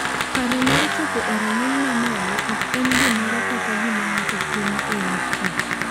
Paro mar chopo e rang’iny ma malo ok en gimoro kata gima ng’ato timo e yor tich.